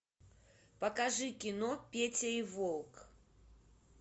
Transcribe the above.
покажи кино петя и волк